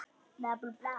Gettu hvað?